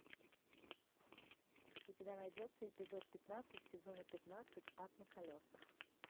у тебя найдется эпизод пятнадцать сезона пятнадцать ад на колесах